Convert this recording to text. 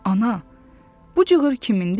Ana, bu cığır kimindir?